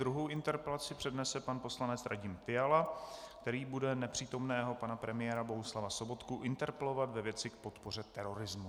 Druhou interpelaci přednese pan poslanec Radim Fiala, který bude nepřítomného pana premiéra Bohuslava Sobotku interpelovat ve věci k podpoře terorismu.